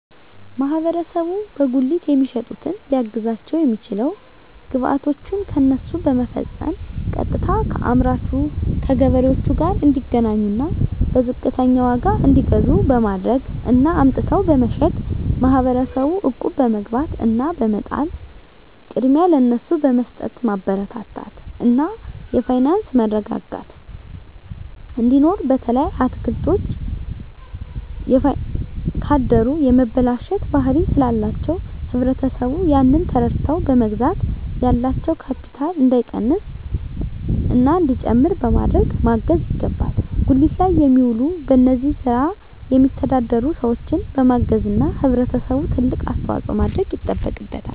ማህበረሰቡ በጉሊት የሚሸጡትን ሊያግዛቸዉ የሚችለዉ ግብይቶችን ከነሱ በመፈፀም ቀጥታከአምራቹ ከገበሬዎቹ ጋር እንዲገናኙና በዝቅተኛ ዋጋ እንዲገዙ በማድረግ እና አምጥተዉ በመሸጥ ማህበረሰቡ እቁብ በመግባት እና በመጣል ቅድሚያ ለነሱ በመስጠትማበረታታት እና የፋይናንስ መረጋጋት እንዲኖር በተለይ አትክልቶች ካደሩ የመበላሸት ባህሪ ስላላቸዉ ህብረተሰቡ ያንን ተረድተዉ በመግዛት ያላቸዉ ካቢታል እንዳይቀንስና እንዲጨምር በማድረግ ማገዝ ይገባል ጉሊት ላይ የሚዉሉ በዚህ ስራ የሚተዳደሩ ሰዎችን በማገዝና ህብረተሰቡ ትልቅ አስተዋፅኦ ማድረግ ይጠበቅበታል